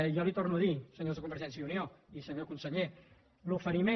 jo els ho torno a dir senyors de convergència i unió i senyor conseller l’oferiment